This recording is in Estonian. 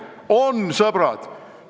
On, sõbrad.